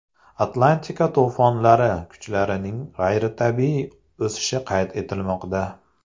Atlantika to‘fonlari kuchlarining g‘ayritabiiy o‘sishi qayd etilmoqda.